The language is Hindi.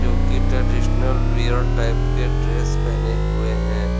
जो कि ट्रेडीशनल रियर टाइप के ड्रेस पहने हुए हैं।